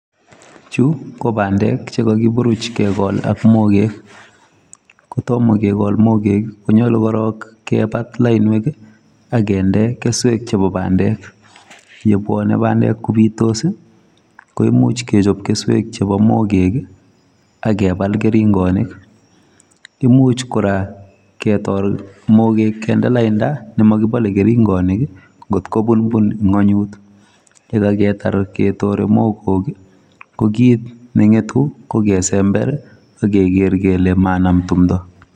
Chu ko bandek chekakiburuch kekol ak mogek. Kotomo kekol mogek konyolu korok kepat lainwek akende keswek chepo bandek. Yebwone bandek kobitos ko imuch kechop keswek chepo mogek, akepal keringonik. Imuch kora ketol mogek kende lainda nemokipole keringonik nkotkopunpunng'unyut. Yekaketar ketore mogok ko kit neng'etu ko kesember akeker kele manam tumdo.